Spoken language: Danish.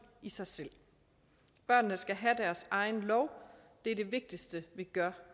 i sig selv børnene skal have deres egen lov det er det vigtigste vi gør